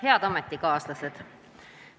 Head ametikaaslased!